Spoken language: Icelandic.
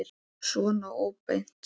Svona óbeint.